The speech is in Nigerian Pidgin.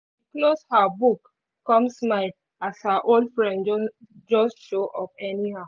she close her book come smile as her old friend just show up anyhow